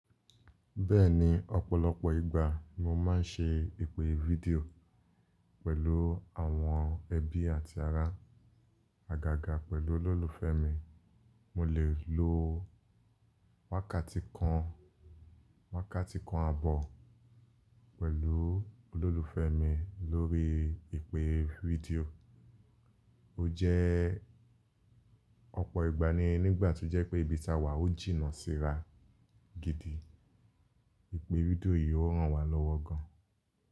Bẹ́ẹ̀ni, ọ̀pọ̀lọpọ̀ ìgbà mo máa ń ṣe ìpè fídíò pẹ̀lú àwọn ẹbí àti ará àgàgà pẹ̀lú olólùfẹ́ mi, mo lè lo. Wákàtí kan, wákàtí kan àbọ̀ pẹ̀lú olólùfẹ́ mi lórí ìpè fídíò. Ó jẹ́ ọ̀pọ̀ ìgbà ni nígbà tó jẹ́ pé ibi tí a wà ó jìnnà síra gidi, ìpè fídíò yìí ó ràn wá lọ́wọ́ gan.